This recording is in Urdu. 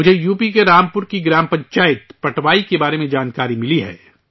مجھے یوپی کے رامپور کی گرام پنچایت پٹوائی کے بارے میں جانکاری ملی ہے